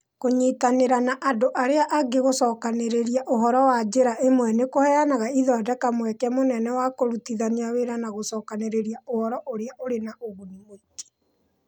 Kũnyitanĩra na andũ arĩa angĩ gũcokanĩrĩria ũhoro na njĩra ĩmwe nĩ kũheaga ithondeka mweke mũnene wa kũrutithania wĩra na gũcokanĩrĩria ũhoro ũrĩ na ũguni mũingĩ.